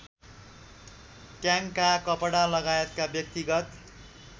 ट्याङ्का कपडालगायतका व्यक्तिगत